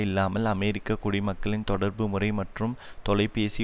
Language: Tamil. இல்லாமல் அமெரிக்க குடிமக்களின் தொடர்பு முறை மற்றும் தொலைபேசி